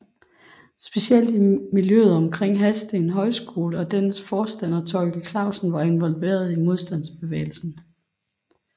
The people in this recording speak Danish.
Specielt i miljøet omkring Hadsten Højskole og dennes forstander Thorkild Klausen var involveret i modstandsbevægelsen